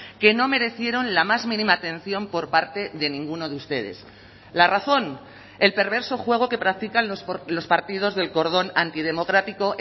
que no merecieron la más mínima atención por parte de ninguno de ustedes la razón el perverso juego que practican los partidos del cordón antidemocrático